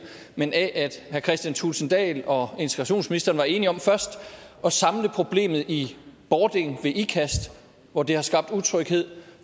men af at herre kristian thulesen dahl og integrationsministeren var enige om først at samle problemet i bording ved ikast hvor det har skabt utryghed